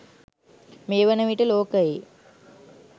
මේ වන විට ලෝකයේ